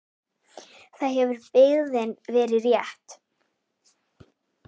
Þar hefur byggðin verið þétt.